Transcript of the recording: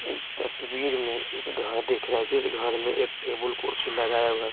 इस तस्वीर में एक घर दिख रहा है जिस घर में एक टेबल कुर्सी लगाया हुआ है।